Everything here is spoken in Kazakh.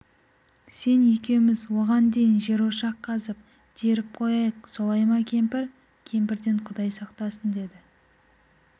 сен екеуміз оған дейін жерошақ қазып теріп қояйық солай ма кемпір кемпірден құдай сақтасын деді